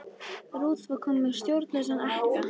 Ruth var komin með stjórnlausan ekka.